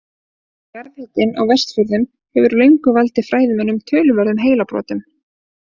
Jarðhitinn á Vestfjörðum hefur löngum valdið fræðimönnum töluverðum heilabrotum.